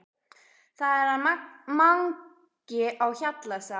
Það er hann Mangi á Hjalla sagði hún.